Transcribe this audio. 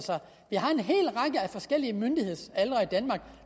forskellige myndighedsaldre i danmark